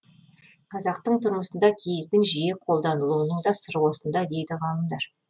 қазақтың тұрмысында киіздің жиі қолданылуының да сыры осында дейді ғалымдар